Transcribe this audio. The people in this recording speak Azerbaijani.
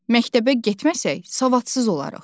Məktəbə getməsək, savadsız olarıq.